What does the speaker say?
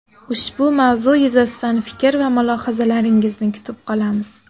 Ushbu mavzu yuzasidan fikr va mulohazalaringizni kutib qolamiz.